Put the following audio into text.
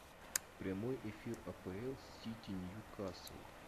прямой эфир апл сити ньюкасл